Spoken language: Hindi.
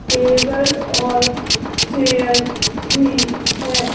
टेबल और चेयर भी है।